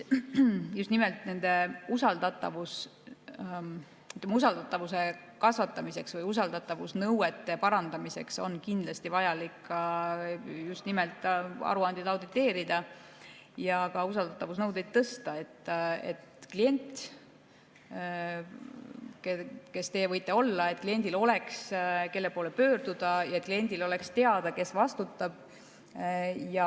Just nimelt usaldatavuse kasvatamiseks või usaldatavusnõuete parandamiseks on kindlasti vaja ka aruandeid auditeerida ja usaldatavusnõudeid tõsta, et kliendil, kes ka teie võite olla, oleks, kelle poole pöörduda, ja kliendil oleks teada, kes vastutab.